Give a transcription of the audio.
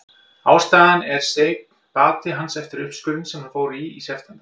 Ástæðan er seinn bati hans eftir uppskurðinn sem hann fór í í september.